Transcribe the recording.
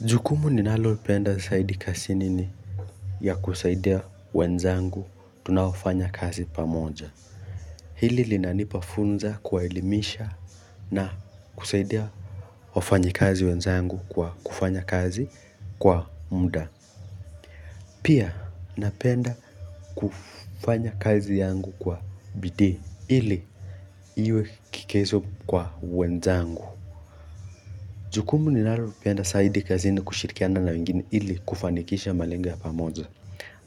Jukumu ni nalopenda saidi kasi nini ya kusaidia wenzangu tunaofanya kazi pamoja. Hili linanipafunza kuwaelimisha na kusaidia wafanyi kazi wenzangu kwa kufanya kazi kwa muda. Pia napenda kufanya kazi yangu kwa bidii ili iwe kikezo kwa wenzangu. Jukumu ni nalopenda saidi kazi nini kushirikiana na wengine ili kufanikisha malengo ya pamoja.